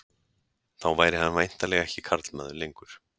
Þá væri hann væntanlega ekki karlmaður lengur.